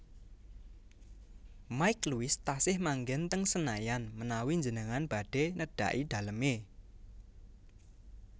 Mike Lewis tasih manggen teng Senayan menawi njenengan badhe nedhaki daleme